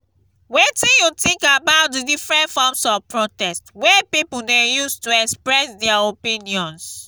wetin you think about di different forms of protest wey people dey use to express dia opinions?